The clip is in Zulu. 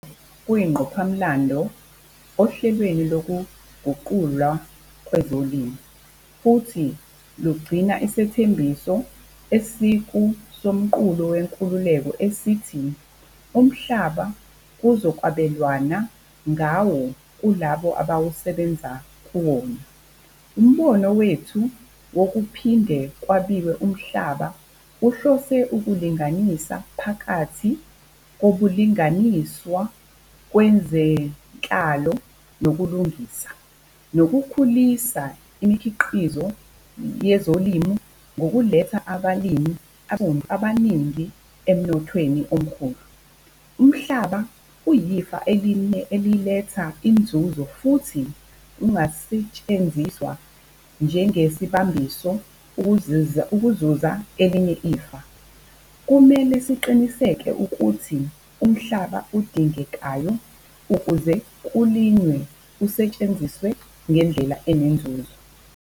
Lokhu kuyingqophamlando ohlelweni lokuguqulwa kwezolimo, futhi lugcina isithembiso esikuSomqulu Wenkululeko esithi umhlaba kuzokwabelwana ngawo kulabo abasebenza kuwona. Umbono wethu wokuphinde kwabiwe umhlaba uhlose ukulinganisa phakathi kobulungiswa kwezenhlalo nokulungisa, nokukhulisa imikhiqizo yezolimo ngokuletha abalimi abansundu abaningi emnothweni omkhulu. Umhlaba uyifa eliletha inzuzo futhi ungasetshenziswa njengesibambiso ukuzuza elinye ifa. Kumele siqinisekise ukuthi umhlaba odingekayo ukuze kulinywe usetshenziswa ngendlela enenzuzo.